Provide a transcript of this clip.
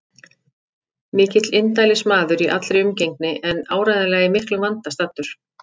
Mikill indælismaður í allri umgengni en áreiðanlega í miklum vanda staddur.